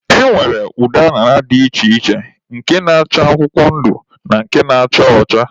E nwere ụdị añara dị iche iche, nke na-acha akwụkwọ ndụ na nke na-acha ọcha.